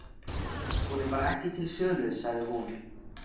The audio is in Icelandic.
Hún er bara ekki til sölu, sagði hún.